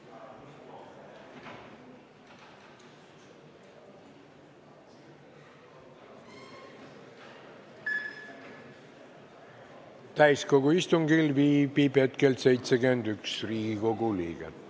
Kohaloleku kontroll Täiskogu istungil viibib hetkel 71 Riigikogu liiget.